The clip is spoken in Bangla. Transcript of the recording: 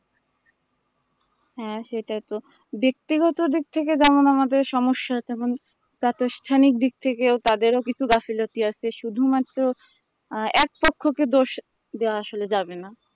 হ্যাঁ সেটাই তো বেক্তিগত দিক থেকে যেমন আমাদের সমস্যা হতো তেমন প্রাতষ্ঠানিক দিক থেকেও তাদেরও কিছু গাফলতি আছে শুধু মাত্র আহ এক পক্ষ কে দোষ দেওয়া আসলে যাবেনা